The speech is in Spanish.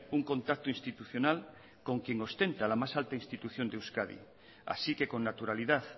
un contacto institucional con quien ostenta la más alta institución de euskadi así que con naturalidad